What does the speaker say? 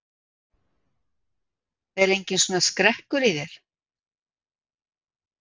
Er enginn svona skrekkur í þér?